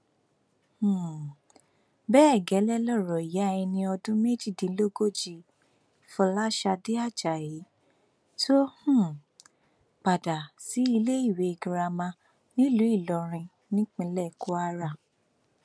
um bẹẹ gẹlẹ lọrọ ìyá ẹni ọdún méjìdínlógójì fọlásadé ajayi tó um padà síléèwé girama nílùú ìlọrin nípínlẹ kwara